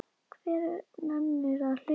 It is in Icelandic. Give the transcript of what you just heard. Hver nennir að hlusta á.